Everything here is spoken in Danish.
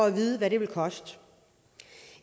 at vide hvad det vil koste